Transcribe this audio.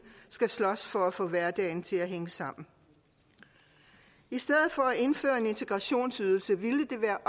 skal slås for at få hverdagen til at hænge sammen i stedet for at indføre integrationsydelsen ville det være